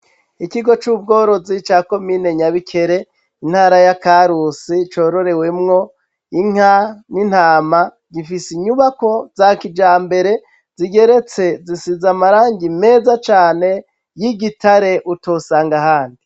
Ikigo c'ubworozi ca komine nyabikere intara ya karusi cororewemwo inka n'intama gifise inyubako za kijambere zigeretse zisize amarangi meza cane y'igitare utosanga ahandi.